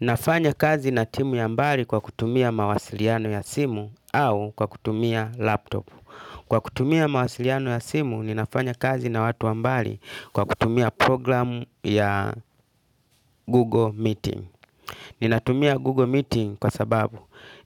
Ninafanya kazi na timu ya mbali kwa kutumia mawasiliano ya simu au kwa kutumia laptop. Kwa kutumia mawasiliano ya simu, ninafanya kazi na watu wa mbali kwa kutumia programu ya Google Meeting. Ninatumia Google Meeting kwa sababu